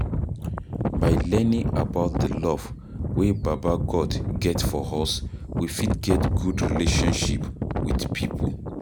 By learning about the love wey baba God get for us we fit get good relationship with pipo